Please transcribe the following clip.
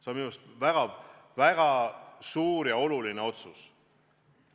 See on minu meelest väga suur ja oluline otsus.